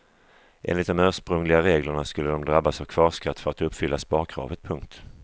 Enligt de ursprungliga reglerna skulle de drabbas av kvarskatt för att uppfylla sparkravet. punkt